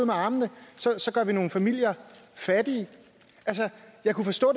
med armene og så gør vi nogle familier fattige jeg kunne forstå